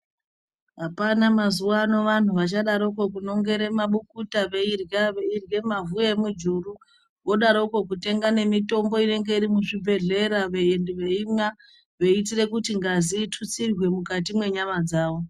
Hapana mazuwano vanhu vachadaroko kunongere mabukuta veirya, veirye mwavhu emwijuru vodaroko veitenge mitombo inenge iri muzvibhedhlera veimwa veiitire kuti ngazi itutsirwe mwukati mwenyama dzawo.